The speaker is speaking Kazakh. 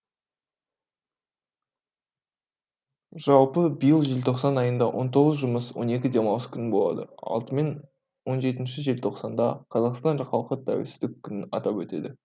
жалпы биыл желтоқсан айында он тоғыз жұмыс он екі демалыс күні болады он алты және он жеті желтоқсанда қазақстан халқы тәуелсіздік күнін атап өтеді